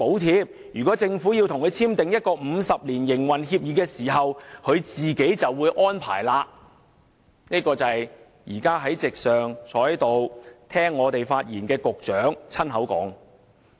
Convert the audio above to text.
因此，如果港鐵公司與政府簽訂50年營運協議，便會自行安排，這是現時在席聆聽我們發言的局長親口說的。